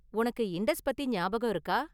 உனக்கு இண்டஸ் பத்தி ஞாபகம் இருக்கா?